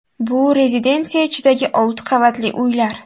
Bu rezidensiya ichidagi olti qavatli uylar.